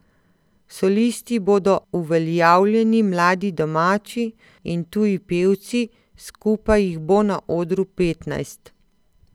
Solisti bodo uveljavljeni mladi domači in tuji pevci, skupaj jih bo na odru petnajst.